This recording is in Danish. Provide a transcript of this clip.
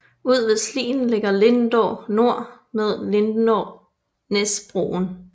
Ud ved Slien ligger Lindå Nor med Lindånæsbroen